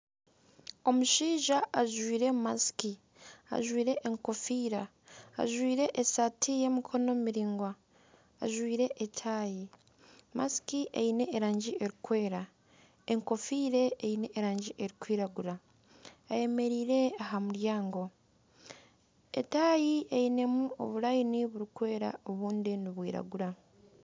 Omushaija ajwaire akakokoro, ajwaire enkofiira ,ajwaire esaati y'emikono miraingwa ajwaire etaayi ,akakokoro Kaine erangi erikweera ,enkofiire eine erangi erikwiragura ayemereire aha muryango etayi einemu oburaini burikwera obundi nibwiragura.